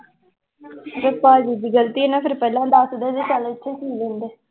ਭਾਜੀ ਦੀ ਗ਼ਲਤੀ ਹੈ ਨਾ ਫਿਰ ਪਹਿਲਾਂ ਦੱਸਦਾ ਜੇ ਚੱਲ ਇੱਥੇ ਸੀਅ ਲੈਂਦੇ